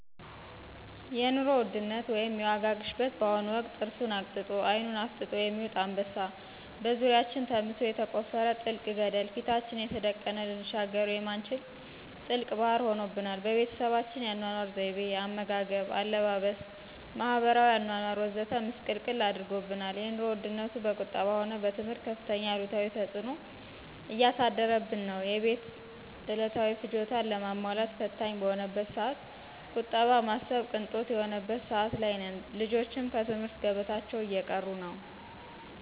የኑሮ ውድነት ወይም የዋጋ ግሽበት በአሁኑ ወቅት ጥርሱን አግጥጦ አይኑን አፍጥጦ የሚውጥ አንበሳ፣ በዙሪያችን ተምሶ የተቆፈረ ጥልቅ ገደለ፣ ፊታችን የተደቀነ ልንሻገረው የማንችል ጥልቅ ባህር ሆኖብናል። በቤተሰባችን የአኗኗር ዘይቤ፣ አመጋገብ፣ አለባበስ፣ ማህበራዊ አኗኗር ወዘተ ምስቅልቅል አድርጎብናል። የኑሮ ውድነቱ በቁጠባ ሆነ በትምህርት ከፍተኛ አሉታዊ ተፅዕኖ እያሳደረብን ነው። የቤት ዕለታዊ ፍጆታን ለማሟላት ፈታኝ በሆነበት ሰዓት ቁጠባ ማሰብ ቅንጦት የሆነበት ሰዓት ላይ ነን። ልጆችም ከትምህርት ገበታቸው እየቀሩ ነው።